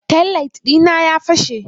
Taillight dina ya fashe.